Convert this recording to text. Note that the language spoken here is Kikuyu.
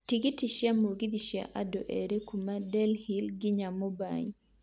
tigiti cĩa mũgithi cĩa andũ erĩ kuuma Delhi nginya mumbai